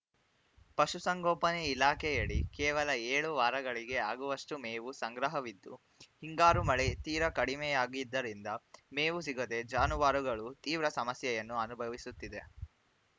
ಪಶುಸಂಗೋಪನೆ ಇಲಾಖೆಯಡಿ ಕೇವಲ ಏಳು ವಾರಗಳಿಗೆ ಆಗುವಷ್ಟುಮೇವು ಸಂಗ್ರಹವಿದ್ದು ಹಿಂಗಾರು ಮಳೆ ತೀರಾ ಕಡಿಮೆಯಾಗಿದ್ದರಿಂದ ಮೇವು ಸಿಗದೇ ಜಾನುವಾರುಗಳು ತೀವ್ರ ಸಮಸ್ಯೆಯನ್ನು ಅನುಭವಿಸುತ್ತಿದೆ